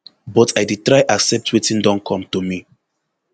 but l dey try accept wetin don come to me